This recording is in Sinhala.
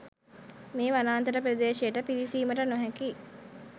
මේ වනාන්තර ප්‍රදේශයට පිවිසීමට නො හැකි